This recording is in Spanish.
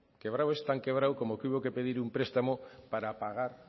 tan quebrado como que hubo que pedir un prestamo para pagar